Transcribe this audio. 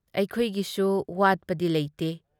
ꯑꯩꯈꯣꯏꯒꯤꯁꯨ ꯋꯥꯠꯄꯗꯤ ꯂꯩꯇꯦ꯫